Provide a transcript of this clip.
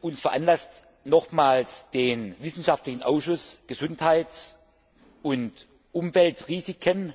uns veranlasst, nochmals den wissenschaftlichen Ausschuss Gesundheits und Umweltrisiken